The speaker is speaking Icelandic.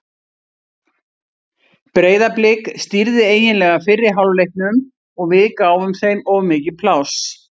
Breiðablik stýrði eiginlega fyrri hálfleiknum og við gáfum þeim of mikið pláss.